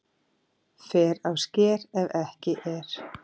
Fer á sker ef ekki er